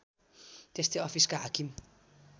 त्यस्तै अफिसका हाकिम